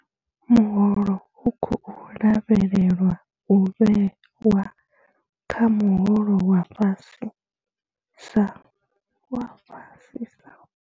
Muholo u khou lavhelelwa u vhewa kha muholo wa fhasisa wa fhasisa.